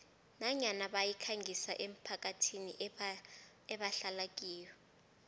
nanyana bayikhangisa emphakathini ebahlala kiyo